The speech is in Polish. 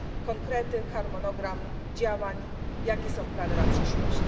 Konkrety, harmonogram działań, jakie są plany na przyszłość?